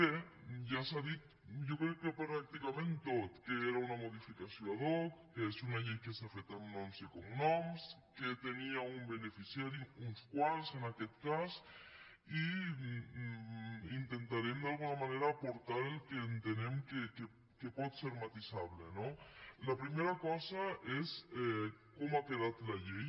bé ja s’ha dit jo crec que pràcticament tot que era una modificació ad hoc que és una llei que s’ha fet amb noms i cognoms que tenia un beneficiari uns quants en aquest cas i intentarem d’alguna manera aportar el que entenem que pot ser matisable no la primera cosa és com ha quedat la llei